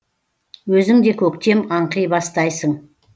өзің де көктем аңқи бастайсың